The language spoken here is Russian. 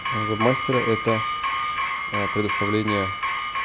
вэб мастера это предоставление